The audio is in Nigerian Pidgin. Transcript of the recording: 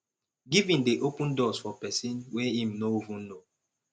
giving dey open doors for pesin wey im no even know